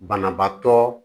Banabaatɔ